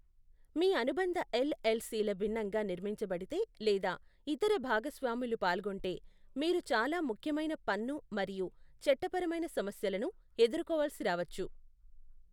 మీ అనుబంధ ఎల్ఎల్సిల భిన్నంగా నిర్మించబడితే లేదా ఇతర భాగస్వాములు పాల్గొంటే, మీరు చాలా ముఖ్యమైన పన్ను మరియు చట్టపరమైన సమస్యలను ఎదుర్కోవలసి రావచ్చు.